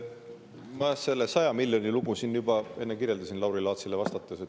Ma selle 100 miljoni lugu siin juba enne kirjeldasin Lauri Laatsile vastates.